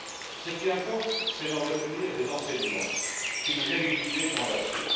Ce qui importe, c'est d'en retenir les enseignements, qui devraient nous guider dans l'action.